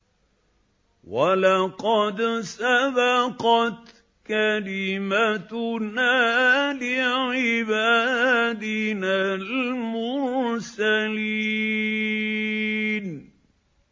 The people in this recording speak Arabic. وَلَقَدْ سَبَقَتْ كَلِمَتُنَا لِعِبَادِنَا الْمُرْسَلِينَ